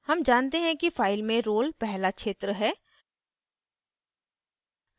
हम जानते हैं कि file में roll नंबर पहला क्षेत्र है